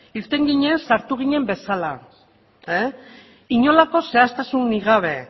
irten ginen sartu ginen bezala inolako zehaztasunik gabe